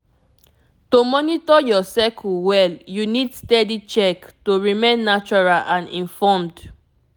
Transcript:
to monitor your cycle well you need steady check to remain natural and informed